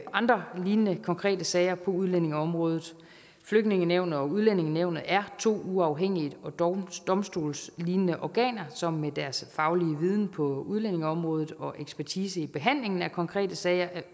andre lignende konkrete sager på udlændingeområdet flygtningenævnet og udlændingenævnet er to uafhængige og domstolslignende organer som med deres faglige viden på udlændingeområdet og ekspertise i behandlingen af konkrete sager